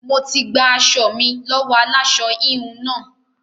Mo ti gba aṣọ mi lọ́wọ́ aláṣọ-híhun náà.